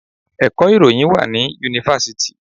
Ẹ̀kọ́ ìròyìn wá ní Yunifásítì.